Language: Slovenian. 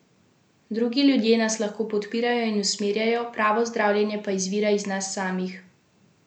Drugi ljudje nas lahko podpirajo in usmerjajo, pravo zdravljenje pa izvira iz nas samih.